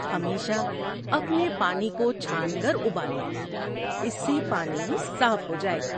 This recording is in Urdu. ہمیشہ اپنے پانی کو چھان کر ابال لیں، اس سے پانی صاف ہو جائے گا۔